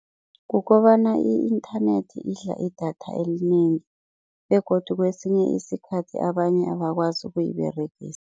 Kukobana i-internet idla idatha elinengi begodu kwesinye isikhathi abanye abakwazi ukuyiberegisa.